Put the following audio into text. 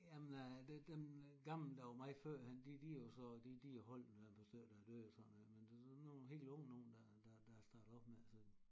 Jamen øh det dem gamle der var mig førhen de lige jo så de de holdt der er et par stykker der er døde og sådan noget men det er sådan nogle helt unge nogen der der er startet op med det